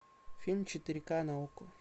фильм четыре ка на окко